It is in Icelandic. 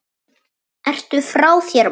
Ertu frá þér, maður?